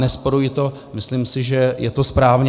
Nerozporuji to, myslím si, že je to správně.